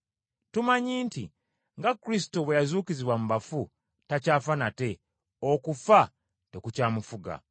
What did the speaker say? Tumanyi nti, nga Kristo bwe yazuukizibwa mu bafu, takyafa nate, okufa tekukyamufuga.